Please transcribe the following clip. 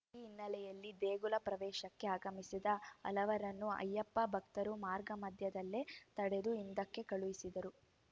ಈ ಹಿನ್ನೆಲೆಯೆಲ್ಲಿ ದೇಗುಲ ಪ್ರವೇಶಕ್ಕೆ ಆಗಮಿಸಿದ ಹಲವರನ್ನು ಅಯ್ಯಪ್ಪ ಭಕ್ತರು ಮಾರ್ಗಮಧ್ಯದಲ್ಲೇ ತಡೆದು ಹಿಂದಕ್ಕೆ ಕಳುಹಿಸಿದರು